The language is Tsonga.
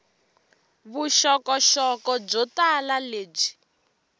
vuxokoxoko byo tala lebyi